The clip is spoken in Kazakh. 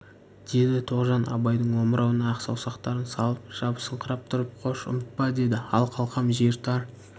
деді тоғжан абайдың омырауына ақ саусақтарын салып жабысыңқырап тұрып қош ұмытпа деді ал қалқам жер тар